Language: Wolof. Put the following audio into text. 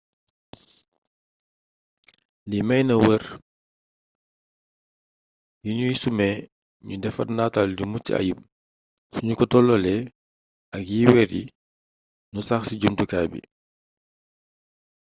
lii may na weer yi nuy sumee nu defar nataal yu mucc ayub sunu ko tolloolee ak yi weer yi nu sax ci jumtukaay bi